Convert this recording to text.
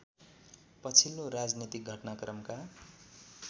पछिल्लो राजनीतिक घटनाक्रमका